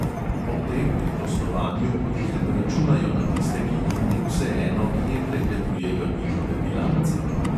Ob tem pri poslovanju potihem računajo na tiste, ki jim ni vseeno, kje pregledujejo njihove bilance.